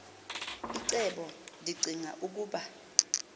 icebo ndicinga ukuba